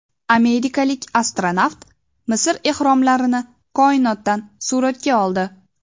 Amerikalik astronavt Misr ehromlarini koinotdan suratga oldi.